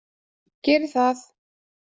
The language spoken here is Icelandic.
Geri það.